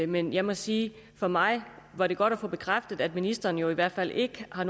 men jeg må sige at for mig var det godt at få bekræftet at ministeren i hvert fald ikke har